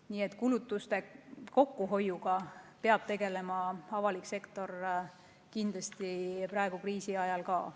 Nii et kulutuste kokkuhoiuga peab avalik sektor kindlasti tegelema ka praegu, kriisi ajal.